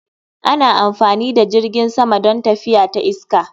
Ana amfani da jirgin sama don tafiya ta iska